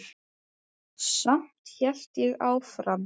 Samt hélt ég áfram.